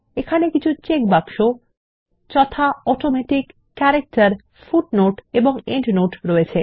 এখানে কিছু চেকবাক্স যথা অটোমেটিক ক্যারেক্টার ফুটনোট এবং এন্ডনোট রয়েছে